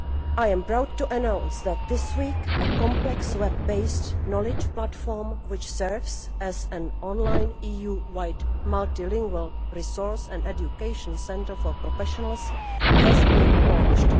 I am proud to announce that this week a complex web based knowledge platform, which serves as an online EU wide multilingual resource and education centre for professionals, has been launched.